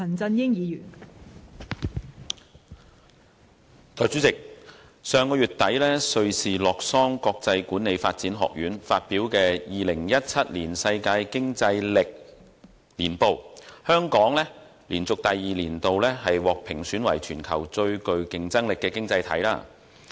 代理主席，根據上月底瑞士洛桑國際管理發展學院發表的《2017年世界競爭力年報》，香港連續第二年獲評選為全球最具競爭力的經濟體。